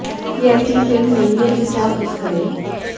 ये ऐसी फिल्म नहीं है जिसे आप मिस करें